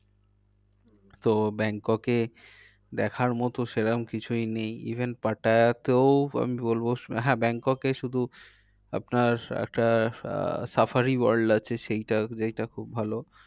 তো ব্যাংককে দেখার মতো সেরকম কিছু নেই। even পাটায়াতেও আমি বলবো, হ্যাঁ ব্যাংককে শুধু আপনার একটা আহ safari world সেইটা যেইটা খুব ভালো।